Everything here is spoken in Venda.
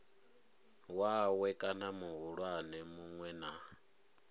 wawe kana muhulwane munwe na